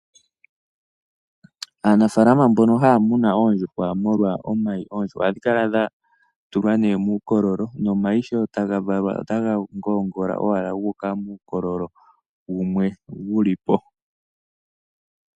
Aanafaalama mbono haya munu oondjuhwa molwa omayi, oondjuhwa ohadhi kala dha tulwa nee muukololo. Nomayi sho taga valwa, otaga ngoongola owala gu uka muukololo wumwe wu li po.